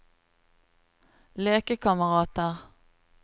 lekekamerater